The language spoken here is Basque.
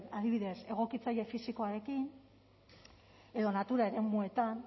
adibidez egokitze fisikoarekin edo natura eremuetan